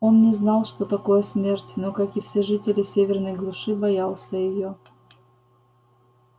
он не знал что такое смерть но как и все жители северной глуши боялся её